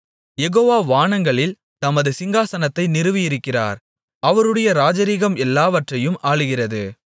யெகோவா வானங்களில் தமது சிங்காசனத்தை நிறுவியிருக்கிறார் அவருடைய ராஜரிகம் எல்லாவற்றையும் ஆளுகிறது